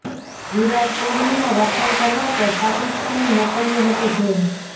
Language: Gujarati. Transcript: વિરાટ કોહલીના વખાણ કરવા પર પાકિસ્તાને મોકલ્યો હતો જેલ